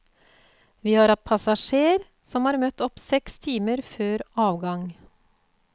Vi har hatt passasjerer som har møtt opp seks timer før avgang.